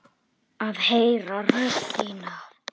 Að heyra rödd þína.